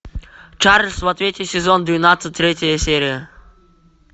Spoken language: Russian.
чарльз в ответе сезон двенадцать третья серия